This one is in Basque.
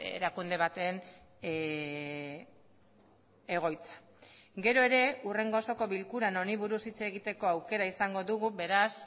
erakunde baten egoitza gero ere hurrengo osoko bilkuran honi buruz hitz egiteko aukera izango dugu beraz